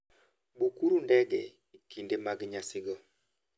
Bukuru ndege e kinde mag nyasigo.